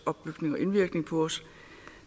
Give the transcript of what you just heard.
opbygning og indvirkning på os